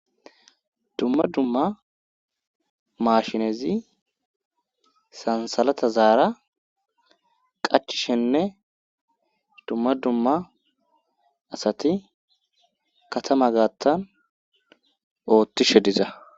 dumma dumma maashinezi sansalata zaara qachishenne dumma dumma asati katama gaattan oottishe diza